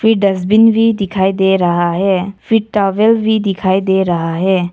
फिर डस्टबिन भी दिखाई दे रहा है फिर टॉवेल भी दिखाई दे रहा है।